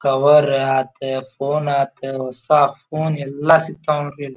Cover ಆಯಿತು phone ಆಯಿತು ಹೊಸ ಫೋನ್ ಎಲ್ಲ ಸಿಗತ್ತವೆ ನೋಡ್ರಿ ಇಲ್ಲಿ.